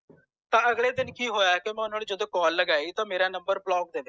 ਤਾਂ ਅਗਲੇ ਦਿਨ ਕਿ ਹੋਇਆ ਕਿ ਜਦੋ call ਲਗਾਈ ਤਾਂ ਮੇਰਾ number block ਦੇਵੇ